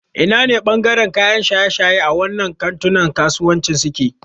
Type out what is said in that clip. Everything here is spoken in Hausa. Ina ne ɓangaren kayan shaye-shaye a wannan kantunan kasuwancin suke?